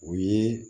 O ye